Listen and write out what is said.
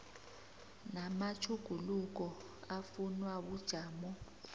namatjhuguluko afunwa bujamo